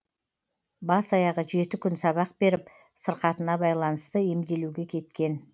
бас аяғы жеті күн сабақ беріп сырқатына байланысты емделуге кеткен